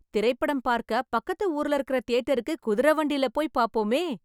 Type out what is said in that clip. திரைப்படம் பார்க்க, பக்கத்து ஊருல இருக்கற தியேட்டருக்கு குதிரை வண்டில போய் பாப்போமே..